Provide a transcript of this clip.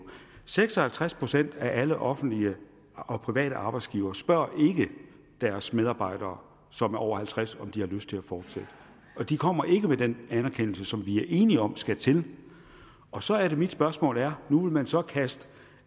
seks og halvtreds procent af alle offentlige og private arbejdsgivere spørger ikke deres medarbejdere som er over halvtreds år om de har lyst til at fortsætte de kommer ikke med den anerkendelse som vi er enige om skal til og så er det mit spørgsmål er nu vil man så kaste